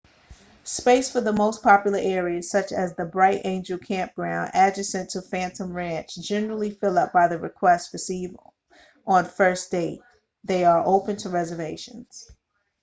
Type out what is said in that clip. space for the most popular areas such as the bright angel campground adjacent to phantom ranch generally fill up by the requests received on first date they are opened to reservations